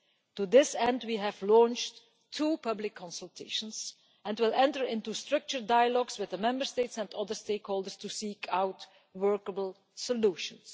To this end we have launched two public consultations and will enter into structured dialogues with the Member States and other stakeholders to seek out workable solutions.